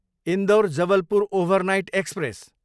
Indore, Jabalpur overnight express